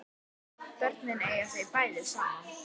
Börnin eiga þau bæði saman